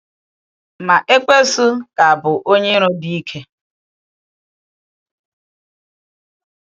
Ma Ekwensu ka bụ onye iro dị ike.